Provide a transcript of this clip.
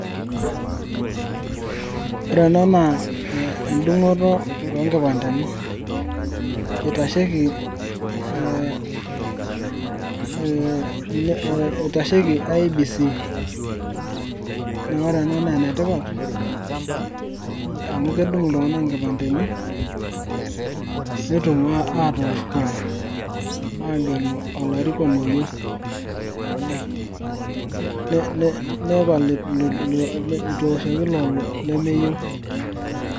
Ore enaa naa endungoto oonkipandeni, eitashieki ee ee ee IBC na ore ena na enetipat amu kedung ltunganak inkipandeni netum atoosh kura agelu olarikoni oyieu, ne ne ne neton itueshoki lelo lemeyieu.